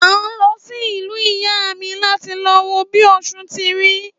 À ń lọ sí ìlú ìyá míí láti lọ wo bi osùn ti rí.